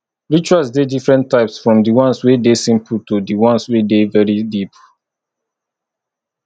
rituals de different types from di ones wey de simple to di ones wey de very deep